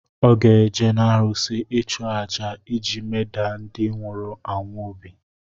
Ọ ga-eje n’arụsị ịchu àjà iji medaa ndị nwụrụ anwụ obi